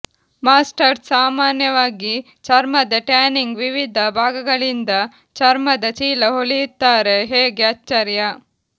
masters ಸಾಮಾನ್ಯವಾಗಿ ಚರ್ಮದ tanning ವಿವಿಧ ಭಾಗಗಳಿಂದ ಚರ್ಮದ ಚೀಲ ಹೊಲಿಯುತ್ತಾರೆ ಹೇಗೆ ಆಶ್ಚರ್ಯ